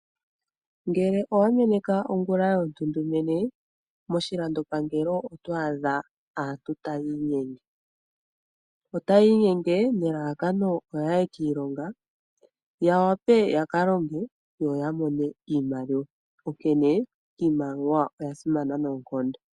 Ngele owameneka ongula yontundumene, moshilandopangelo oto adha muna aantu taya inyenge, nelalakano yaye kiilonga yawape yakaalonge yo yamone iimaliwa onkene iimaliwa oyasimana noonkondo.